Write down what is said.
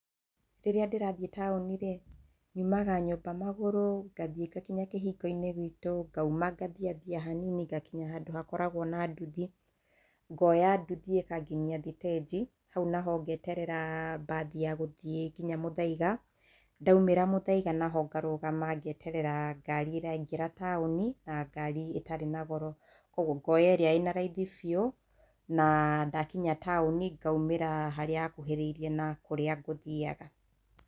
Rĩrĩa ndĩrathiĩ taũni rĩ nyumaga nyũmba magurũ ngathiĩ ngakinya kĩhingoinĩ gitũ ngauma ngathiathia hanini ngakinya handũ hakoragwo na nduthi ngonya ndũthi ĩkanginyia thitĩnji hau naho ngeterera mbathi ya gũthie nginya mũthaiga ndaumĩra mũthaiga naho ngarũgama ngeterera ngari ĩrĩa ĩraingĩra taũni na ngari ĩtarĩ na goro koguo ngoya ĩrĩa ĩna raithi biũ na ndakinya taũni ngaumĩra harĩa hakuhĩ na kũrĩa ngũthiaga.